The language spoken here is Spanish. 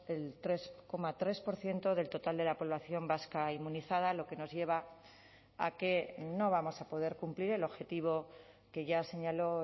el tres coma tres por ciento del total de la población vasca inmunizada lo que nos lleva a que no vamos a poder cumplir el objetivo que ya señaló